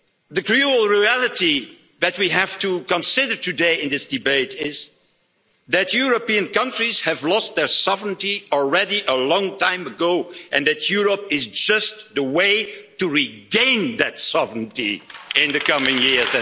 The cruel reality that we have to consider today in this debate is that European countries lost their sovereignty already a long time ago, and that Europe is just the way to regain that sovereignty in the coming years.